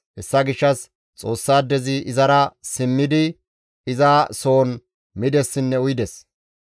Hessa gishshas Xoossaadezi izara simmidi iza soon midessinne uyides.